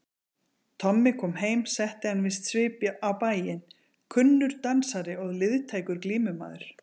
Tommi kom heim setti hann víst svip á bæinn, kunnur dansari og liðtækur glímumaður.